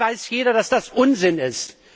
Dabei weiß jeder, dass das Unsinn ist.